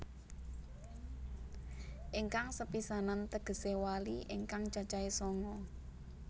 Ingkang sepisanan tegesé wali ingkang cacahe sanga